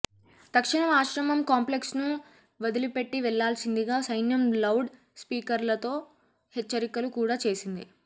తక్షణం ఆశ్రమం క్లాంప్లెక్స్ను వదిలిపెట్టి వెళ్లాల్సిందిగా సైన్యం లౌడ్ స్పీకర్లలో హెచ్చరికలు కూడా చేసింది